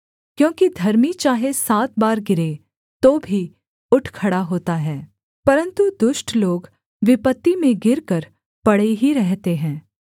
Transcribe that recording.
क्योंकि धर्मी चाहे सात बार गिरे तो भी उठ खड़ा होता है परन्तु दुष्ट लोग विपत्ति में गिरकर पड़े ही रहते हैं